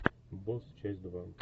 босс часть два